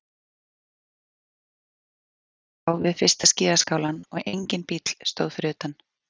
Ekkert líf var að sjá við fyrsta skíðaskálann og enginn bíll stóð fyrir utan.